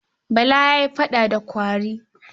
Bala ya yi faɗa da kwari.